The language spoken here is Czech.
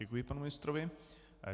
Děkuji panu ministrovi.